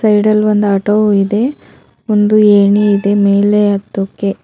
ಸೈಡಲ್ ಒಂದು ಆಟೋ ಇದೆ ಒಂದು ಏಣಿ ಇದೆ ಮೇಲೆ ಹತ್ತೋಕೆ.